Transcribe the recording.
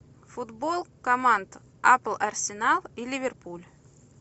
футбол команд апл арсенал и ливерпуль